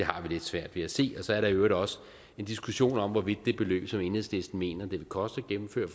har vi lidt svært ved at se så er der jo også en diskussion om hvorvidt det beløb som enhedslisten mener det vil koste at gennemføre